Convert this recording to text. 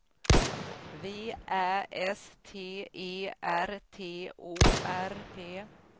V Ä S T E R T O R P